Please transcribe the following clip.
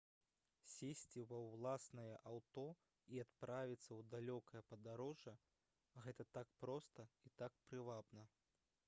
сесці ва ўласнае аўто і адправіцца ў далёкае падарожжа гэта так проста і так прывабна